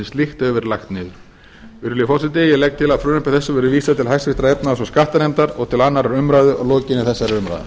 slíkt hefur verið lagt niður virðulegi forseti ég legg til að frumvarpi þessu verði vísað til efnahags og skattanefndar og til annarrar umræðu að